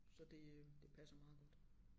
Så det det passer meget godt